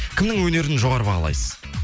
кімнің өнерін жоғары бағалайсыз